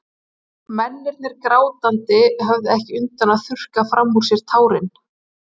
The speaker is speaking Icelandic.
Mennirnir grátandi, höfðu ekki undan að þurrka framan úr sér tárin.